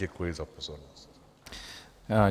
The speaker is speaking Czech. Děkuji za pozornost.